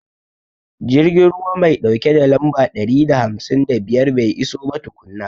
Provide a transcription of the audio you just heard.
Jirgin ruwa mai ɗauke da lamba ɗari da hamsin da biyar bai iso ba tukunna.